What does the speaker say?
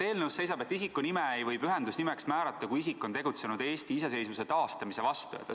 Eelnõus seisab, et isiku nime ei või pühendusnimeks määrata, kui isik on tegutsenud Eesti iseseisvuse taastamise vastu.